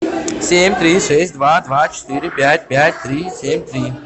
семь три шесть два два четыре пять пять три семь три